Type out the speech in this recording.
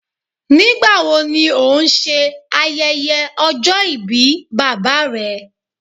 Nigbawo ni o n ṣe ayẹyẹ ọjọ-ibi baba rẹ